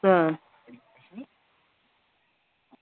ആഹ്